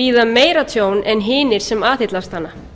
bíða meira tjón en hinir sem aðhyllast hana